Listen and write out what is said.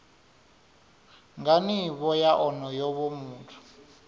nga nivho ya onoyo muthu